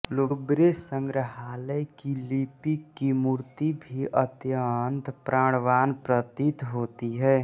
लूब्रे संग्रहालय की लिपिक की मूर्ति भी अत्यंत प्राणवान् प्रतीत होती है